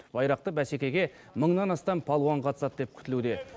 байрақты бәсекеге мыңнан астам палуан қатысады деп күтілуде